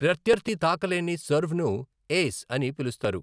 ప్రత్యర్థి తాకలేని సర్వ్ను 'ఏస్' అని పిలుస్తారు.